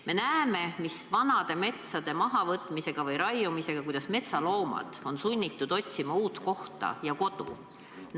Me näeme, mis vanade metsade mahavõtmise või raiumisega kaasneb, näeme seda, kuidas metsloomad on sunnitud otsima uut kohta ja kodu.